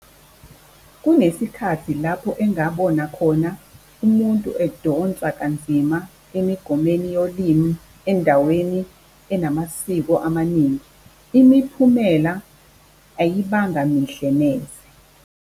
Kunesikhathi lapho engabona khona umuntu edonsa kanzima emigomeni yolimi endaweni enamasiko amaningi, imiphumela ayibanga mihle neze.